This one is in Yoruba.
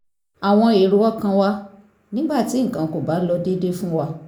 àwọn èrò ọkàn wa nígbà tí nǹkan kò bá lọ déédé fún wa